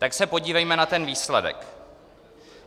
Tak se podívejme na ten výsledek.